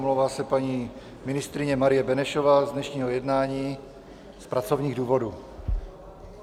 Omlouvá se paní ministryně Marie Benešová z dnešního jednání z pracovních důvodů.